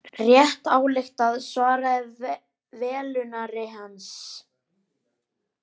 Rétt ályktað svaraði velunnari hans, hárrétt.